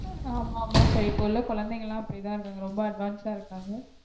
ஆஹ் ஆமா sir இப்போ உள்ள கொழந்தைங்கலாம் அப்டிதா இருக்காங்க ரொம்ப advanced ஆ இருக்காங்க